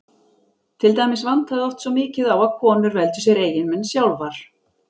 Til dæmis vantaði oft mikið á að konur veldu sér eiginmenn sjálfar.